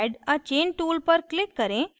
add a chain tool पर click करें